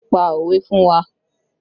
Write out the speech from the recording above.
Pa òwe fún wa!